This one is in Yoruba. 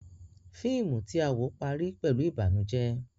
Fíìmù tí à ń wò parí pẹ̀lú ìbànújẹ́.